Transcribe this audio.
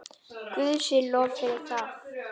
Guði sé lof fyrir það.